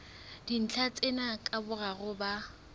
dintlha tsena ka boraro ba